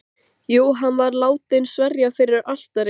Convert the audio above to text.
Jú, hún var látin sverja fyrir altari.